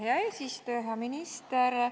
Hea eesistuja!